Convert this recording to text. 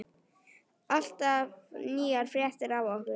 Alltaf nýjar fréttir af okkur.